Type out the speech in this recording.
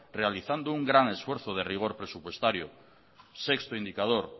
realizando un gran esfuerzo de rigor presupuestario sexto indicador